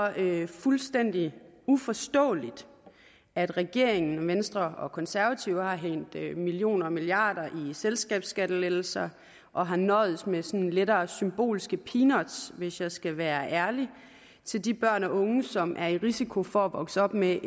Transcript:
fuldstændig uforståeligt at regeringen og venstre og konservative har hældt millioner og milliarder i selskabsskattelettelser og har nøjedes med sådan lettere symbolske peanuts hvis jeg skal være ærlig til de børn og unge som er i risiko for at vokse op med